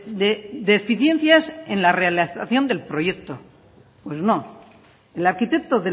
de deficiencias en la realización del proyecto pues no el arquitecto